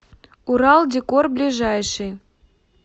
урал декор ближайший